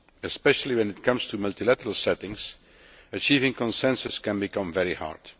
Especially when it comes to multilateral settings, achieving consensus can become very hard.